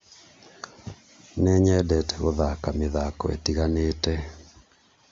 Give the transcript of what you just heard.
Nĩnyendete gũthaka mĩthako ĩtiganĩte